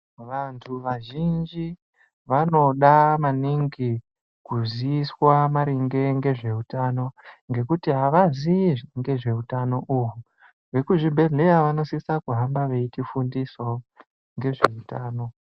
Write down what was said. Vantu vazhinji vanoda maningi kuziyiswa maringe ngezveutano ngekuti havaziyi ngezveutano uhu vekuzvibhedhleya vanosisa kuhamba veitifundisawo ngezveutano.